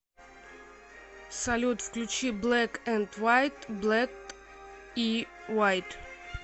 салют включи блэк энд вайт блэк и вайт